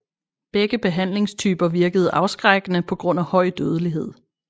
Begge behandlingstyper virkede afskrækkende pga høj dødelighed